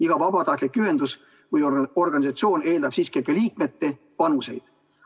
Iga vabatahtlik ühendus või organisatsioon eeldab siiski ka liikmete panuseid.